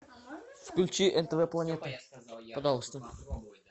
включи нтв планета пожалуйста